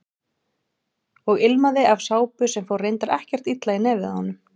Og ilmaði af sápu sem fór reyndar ekkert illa í nefið á honum.